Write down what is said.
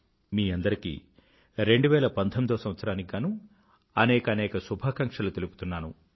మీ అందరికీ 2019వ సంవత్సరానికి గానూ అనేకానేక శుభాకాంక్షలు తెలుపుతున్నాను